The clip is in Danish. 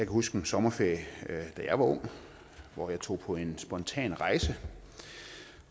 huske en sommerferie da jeg var ung hvor jeg tog på en spontan rejse